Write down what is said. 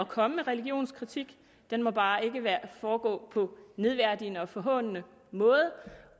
komme med religionskritik den må bare ikke foregå på nedværdigende og forhånende måde